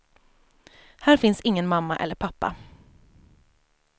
Här finns ingen mamma eller pappa.